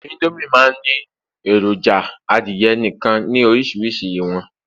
Indomie ma n Ni eroja adìye nìkan ni orísirísi iwọn